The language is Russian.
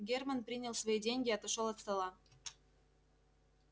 германн принял свои деньги и отошёл от стола